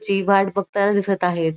ची वाट बघताना दिसत आहेत.